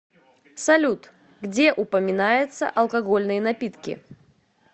салют где упоминается алкогольные напитки